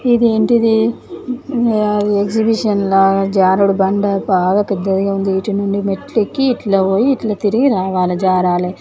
ఇది ఏంటిది ఎగ్జిబిషన్ లాగా జారుడు బండ బాగా పెద్దది గా ఉంది ఇటు నుండి మెట్లు ఎక్కి ఇట్లా పోయి ఇట్లా తిరి రవల జారలి